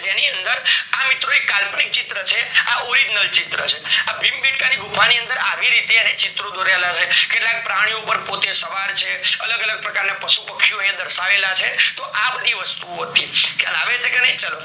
જેની અંદર આ એક કલ્પંક ચિત્ર છે, આ original ચિત્ર છે, આ ભીમ બેડકા ની ગુફા ની અંદર આવી રીતે ચિત્ર દોરેલા છે કેટલાક પ્રાણીઓ પર પોતે સવાર છે, અલગ અલગ પ્રકારના પશુ પક્ષી અંદર દર્શાવેલા છે તો આ બધી વસ્તુ ઓ હતી ખ્યાલ આવે છે ચાલો